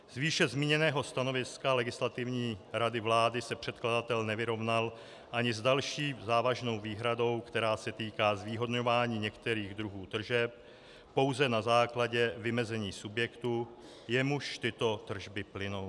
Z výše zmíněného stanoviska Legislativní rady vlády se předkladatel nevyrovnal ani s další závažnou výhradou, která se týká zvýhodňování některých druhů tržeb pouze na základě vymezení subjektu, jemuž tyto tržby plynou.